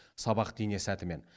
сабақты ине сәтімен